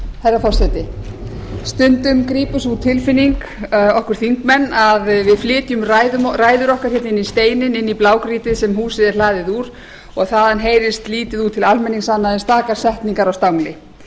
herra forseti stundum grípur sú tilfinning okkur þingmenn að við flytjum ræður okkar hér inn í steininn inn í blágrýtið sem húsið er hlaðið úr og þaðan heyrist lítið út til almennings annað en stakar setningar á stangli